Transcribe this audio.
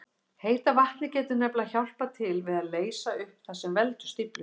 Heita vatnið getur nefnilega hjálpað til við að leysa upp það sem veldur stíflunni.